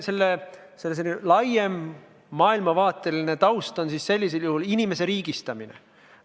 Selle laiem maailmavaateline taust on inimese riigistamine.